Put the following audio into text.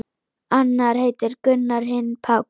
Annar heitir Gunnar, hinn Páll.